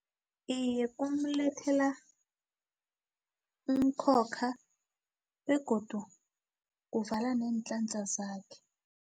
Iye, kumulethela umkhokha begodu kuvala neenhlanhla zakhe.